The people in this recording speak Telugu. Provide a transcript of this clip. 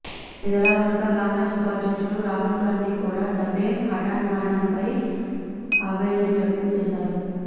ఇదిలా ఉండగా కాంగ్రెస్ ఉపాధ్యక్షుడు రాహుల్ గాంధీ కూడా దవే హఠాన్మరణంపై ఆవేదనను వ్యక్తం చేశారు